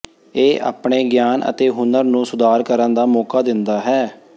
ਇਹ ਆਪਣੇ ਗਿਆਨ ਅਤੇ ਹੁਨਰ ਨੂੰ ਸੁਧਾਰ ਕਰਨ ਦਾ ਮੌਕਾ ਦਿੰਦਾ ਹੈ